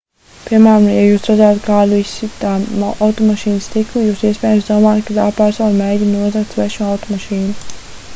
piemēram ja jūs redzētu kādu izsitam automašīnas stiklu jūs iespējams domātu ka tā persona mēģina nozagt svešu automašīnu